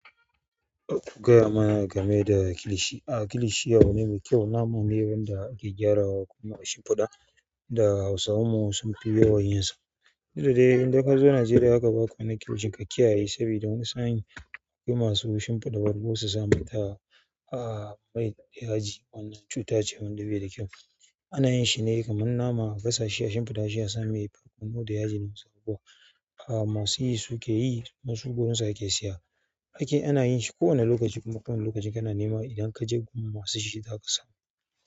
Ku gaya mana game da kilishi. Aa kilishi wani mai kyau naman ne wanda ake gyarawa kuma a shimfiɗa da hausawanmu sun fi yawan yin sa. Duk da dai idan ka zo Najeriya haka ba ku wani kilishi ka kiyaye saboda wani sa'in masu shimfiɗa wari ko su sami ta a yaji wannan cuta ce wanda bai da kyau. Ana yin shi ne kaman nama a gasashi a shimfiɗa shi a sami barkono da yaji da wasu abubuwa, masu yi su ke yi kuma su gurinsu ake saya. Aikin shi ana yin shi ko wane lokaci kuma ko wane lokaci kana nema idan ka je gurin masu shi zaka samu.